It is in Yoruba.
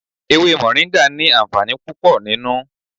Ewé moringa ni àǹfààní púpò nínú.